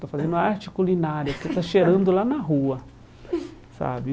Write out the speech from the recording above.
Está fazendo arte culinária, porque está cheirando lá na rua, sabe?